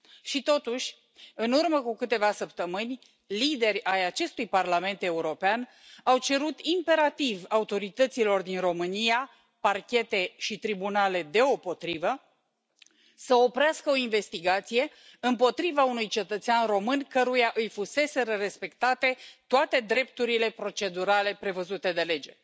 Și totuși, în urmă cu câteva săptămâni, lideri ai acestui Parlament European au cerut imperativ autorităților din România, parchete și tribunale deopotrivă, să oprească o investigație împotriva unui cetățean român căruia îi fuseseră respectate toate drepturile procedurale prevăzute de lege.